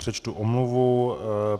Přečtu omluvu.